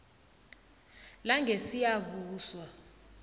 langesiyabuswa